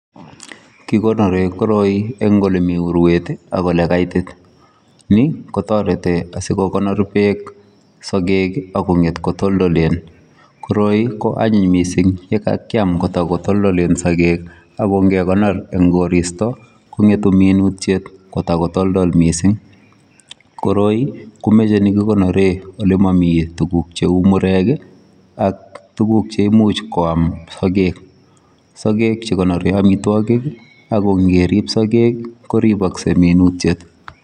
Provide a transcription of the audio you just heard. Kikonoren koroi en olemii uruet ii ak ole kaitit ni kotaretii asikokonor beek asingeet ko toltoleen koroi ko anyiiny missing ye kakiam kotako toltoleen, ako nge konor eng koristoi ko ngetuu minutiik ko takotoltol missing koroi , komachei ole kikonoreen ole mamii tuguuk che uu murek ii ak tuguuk cheimuuch koyaam sageg sageg che kikonoren amitwagiik ako ingerib sageg koripasgei minutiet.